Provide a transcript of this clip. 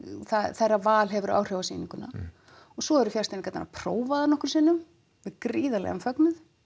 þeirra val hefur áhrif á sýninguna og svo eru fjarstýringarnar prófaðar nokkrum sinnum við gríðarlegan fögnuð